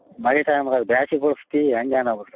ಮಳಿ time ದಾಗ ಬ್ಯಾಸಗಿ ಹೆಂಗೆ ನಾವು.